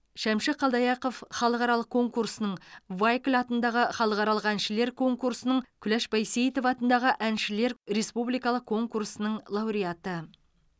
шәмші қалдаяқов халықаралық конкурсының вайкль атындағы халықаралық әншілер конкурсының куляш байсейітова атындағы әншілердің республикалық конкурсының лауреаты